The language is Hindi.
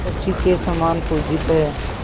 शची के समान पूजित हैं